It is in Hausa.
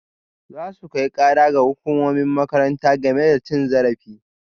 Za su kai kara ga hukumomin makarantar game da cin zarafi